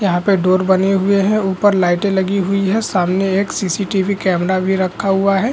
यहाँ पे डोर बनी हुई है ऊपर लाइटें लगी हुई है सामने एक सी.सी.टी.वी. कैमरा भी रखा हुआ है।